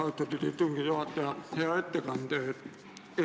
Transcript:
Aitäh, austatud istungi juhataja!